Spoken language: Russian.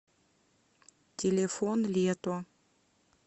телефон лето